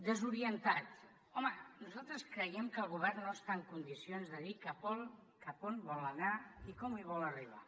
desorientat home nosaltres creiem que el govern no està en condicions de dir cap a on vol anar ni com hi vol arribar